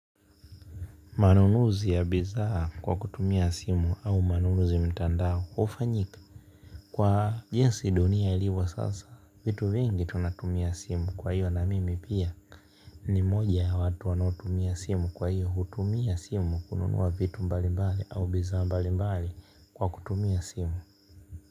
Manunuzi ya bidhaa kwa kutumia simu au manunuzi mtandao hufanyika. Kwa jinsi dunia ilivyo sasa, vitu vingi tunatumia simu kwa hiyo na mimi pia ni mmoja ya watu wanaotumia simu kwa hiyo hutumia simu kununua vitu mbali mbali au bidhaa mbali mbali kwa kutumia simu.